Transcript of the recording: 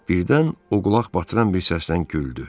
Birdən o qulaq batıran bir səsdən güldü.